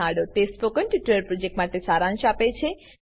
તે spoken tutorial પ્રોજેક્ટનો સારાંશ આપે છે